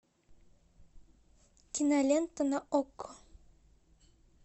кинолента на окко